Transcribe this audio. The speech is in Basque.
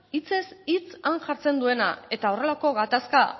hitzez hitz han jartzen duena eta horrelako gatazka